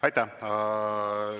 Aitäh!